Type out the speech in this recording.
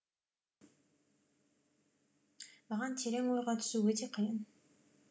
маған терең ойға түсу өте қиын